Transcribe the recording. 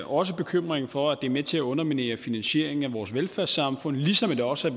også bekymringen for at det er med til at underminere finansieringen af vores velfærdssamfund ligesom det også